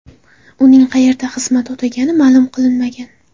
Uning qayerda xizmat o‘tagani ma’lum qilinmagan.